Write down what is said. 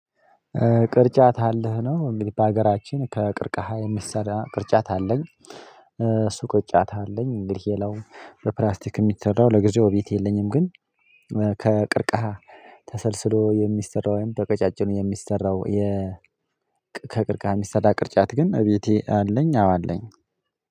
ቅርጫት አለህ ነው እንግዲህ በሀገራችን ከቅርቃሃ የሚሰዳ ቅርጫት አለኝ። እሱ ቅርጫት አለኝ እንግዲህ የለውም በፕላስቲክ የሚሰራው ለጊዜው ቤት የለኝም። ግን ከቅርቃሃ ተሰልስሎ የሚሰራው ወይም በቅጫጭኑ የሚሰራው የ ከቅርቃሃ ሚስተዳ ቅርጫት ግን እቤቴ አለኝ አዎ አለኝ።